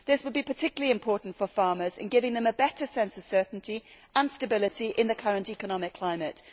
This would be particularly important for farmers in giving them a better sense of certainty and stability in the current economic climate.